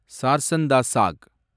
சார்சன் டா சாக்